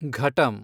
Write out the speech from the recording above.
ಘಟಂ